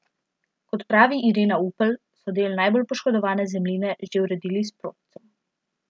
Kot pravi Irena Upelj, so del najbolj poškodovane zemljine že uredili s prodcem.